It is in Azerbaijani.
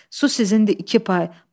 Su sizindir, iki pay.